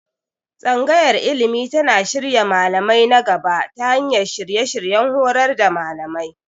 Tsangayar Ilimi tana shirya malamai na gaba ta hanyar shirye-shiryen horar da malamai.